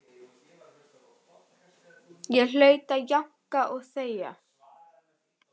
Ég hlaut að jánka og þegja.